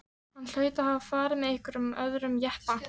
Hann hlaut að hafa farið með einhverjum öðrum jeppa.